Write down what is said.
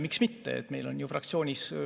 Miks mitte?